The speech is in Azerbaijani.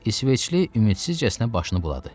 İsveçli ümidsizcəsinə başını buladı.